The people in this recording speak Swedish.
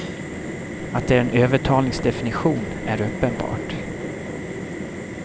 Att det är en övertalningsdefinition är uppenbart.